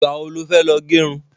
Ìgbà wo lo fẹ́ lọ gẹrun?